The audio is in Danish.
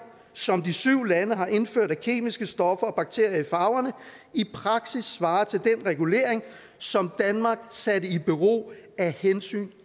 som de syv lande har indført af kemiske stoffer og bakterier i farverne i praksis svarer til den regulering som danmark satte i bero af hensyn